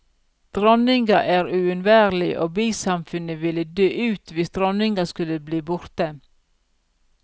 Dronninga er uunværlig og bisamfunnet vil dø ut hvis dronninga skulle bli borte.